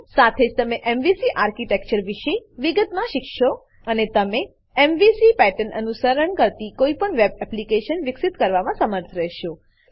સાથે જ તમે એમવીસી આર્કિટેક્ચર એમવીસી આર્કીટેક્ચર વિશે વિગતમાં શીખશો અને તમે એમવીસી પેટર્ન અનુસરણ કરતી કોઈપણ વેબ એપ્લીકેશન વિકસિત કરવામાં સમર્થ રહેશો